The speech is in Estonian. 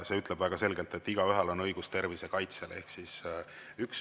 See ütleb väga selgelt, et igaühel on õigus tervise kaitsele.